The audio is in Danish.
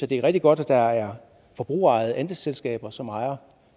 det er rigtig godt at der er forbrugerejede andelsselskaber som ejer